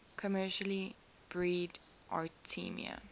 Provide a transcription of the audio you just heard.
commercially breed artemia